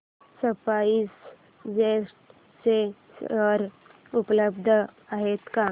spice jet चे share उपलब्ध आहेत का